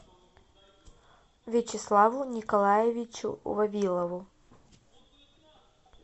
вячеславу николаевичу вавилову